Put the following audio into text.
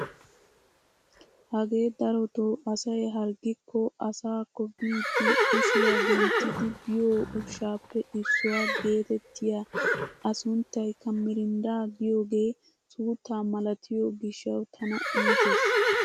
Hagee darotoo asay harggikko asaakkobiidi kushiyaa genttidi biyoo ushshaappe issuwaa getettiyaa a sunttaykka "MIRINDA" giyoogee suuttaa malatiyoo giishshawu tana iitees!